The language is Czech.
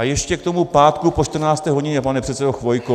A ještě k tomu pátku po 14. hodině, pane předsedo Chvojko.